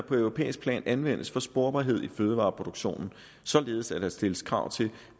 på europæisk plan anvendes for sporbarhed i fødevareproduktionen således at der stilles krav til